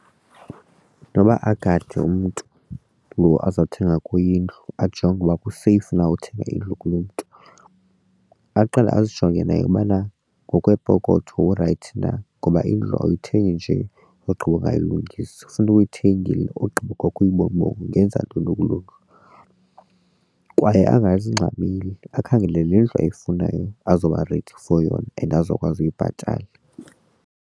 Noba agade umntu lo azawuthenga kuye indlu ajonge ukuba kuseyifu na uthenga indlu kulo mntu. Aqale azijonge nayo ubana ngokweepokotho urayithi na ngoba indlu awuyithengi nje ogqiba ungayilungisi. Funeka uyithengile ogqiba kwakho uyibone uba ungenza ntoni kuloo ndlu kwaye angazingxameli akhangele le ndlu ayifunayo azoba ready for yona and azokwazi uyibhatala.